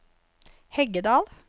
Heggedal